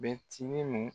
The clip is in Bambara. Bɛtiini